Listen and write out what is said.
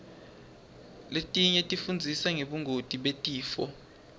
letinye tifundzisa ngebungoti betifo